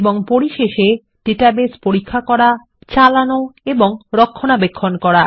এবং পরিশেষে ডাটাবেস পরীক্ষা করা চালান এবং রক্ষনাবেক্ষণ করা